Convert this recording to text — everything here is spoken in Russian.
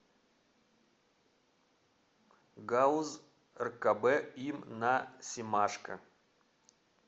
гауз ркб им на семашко